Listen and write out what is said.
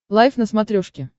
лайф на смотрешке